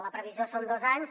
la previsió són dos anys